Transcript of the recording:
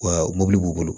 Wa mobili b'u bolo